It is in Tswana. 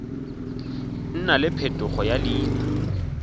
nna le phetogo ya leina